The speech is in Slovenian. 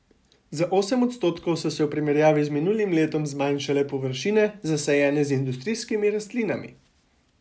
Za osem odstotkov so se v primerjavi z minulim letom zmanjšale površine, zasajene z industrijskimi rastlinami.